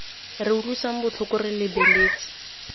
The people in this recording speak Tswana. re utlwisang botlhoko re lebeletse